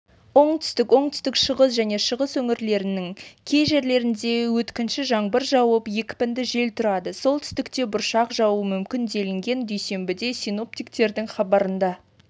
оңтүстік оңтүстік-шығыс және шығыс өңірлерінің кей жерлерінде өткінші жаңбыр жауып екпінді жел тұрады солтүстікте бұршақ жаууы мүмкін делінген дүйсенбіде синоптиктердің хабарында